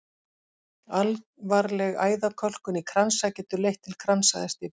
Alvarleg æðakölkun í kransæð getur leitt til kransæðastíflu.